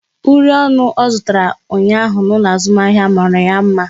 Uri ọnụ ọ zụtara ụnyaahụ n'ụlọ azụmahịa mara ya mma